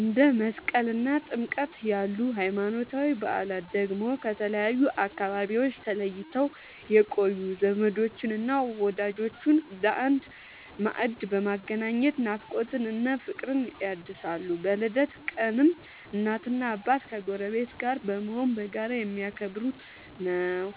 እንደ መስቀልና ጥምቀት ያሉ ሃይማኖታዊ በዓላት ደግሞ ከተለያዩ አካባቢዎች ተለይተው የቆዩ ዘመዶችንና ወዳጆችን በአንድ ማዕድ በማገናኘት ናፍቆትን እና ፍቅርን ያድሳሉ። በልደት ቀንም እናትና አባት ከጎረቤት ጋር በመሆን በጋራ የሚያከብሩት ነዉ።